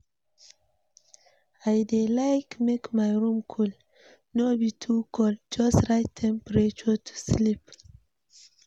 I dey like make my room cool, no be to cold, just right temperature to sleep.